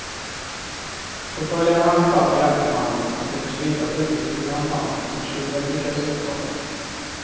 Förföljarna hann ifatt gärningsmannen och kunde slita bytet ur hans hand men tjuven lyckades undkomma.